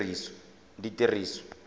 ditiriso